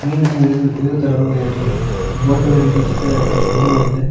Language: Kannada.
ಮೀನನ್ನು ಹಿಡಿದು ಹಿಡಿದು ತರಲು ಎರಡು ಬೋಟ್ ಗಳ ರೀತಿ ಚಿಕ್ಕದಾಗಿರುವಂತಹ ಹಡಗಗಳು ಇವೆ.